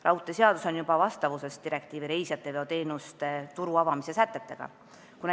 Raudteeseadus on juba vastavuses direktiivi reisijateveoteenuste turu avamise sätetega.